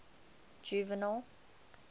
juvenal